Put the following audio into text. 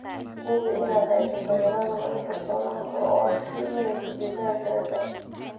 Hubi inaad haysato nidaam lagu kalsoonaan karo oo aad ku iibinayso digaaggaaga.